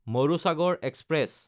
Marusagar express